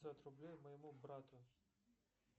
пятьсот рублей моему брату